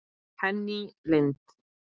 Henný Lind.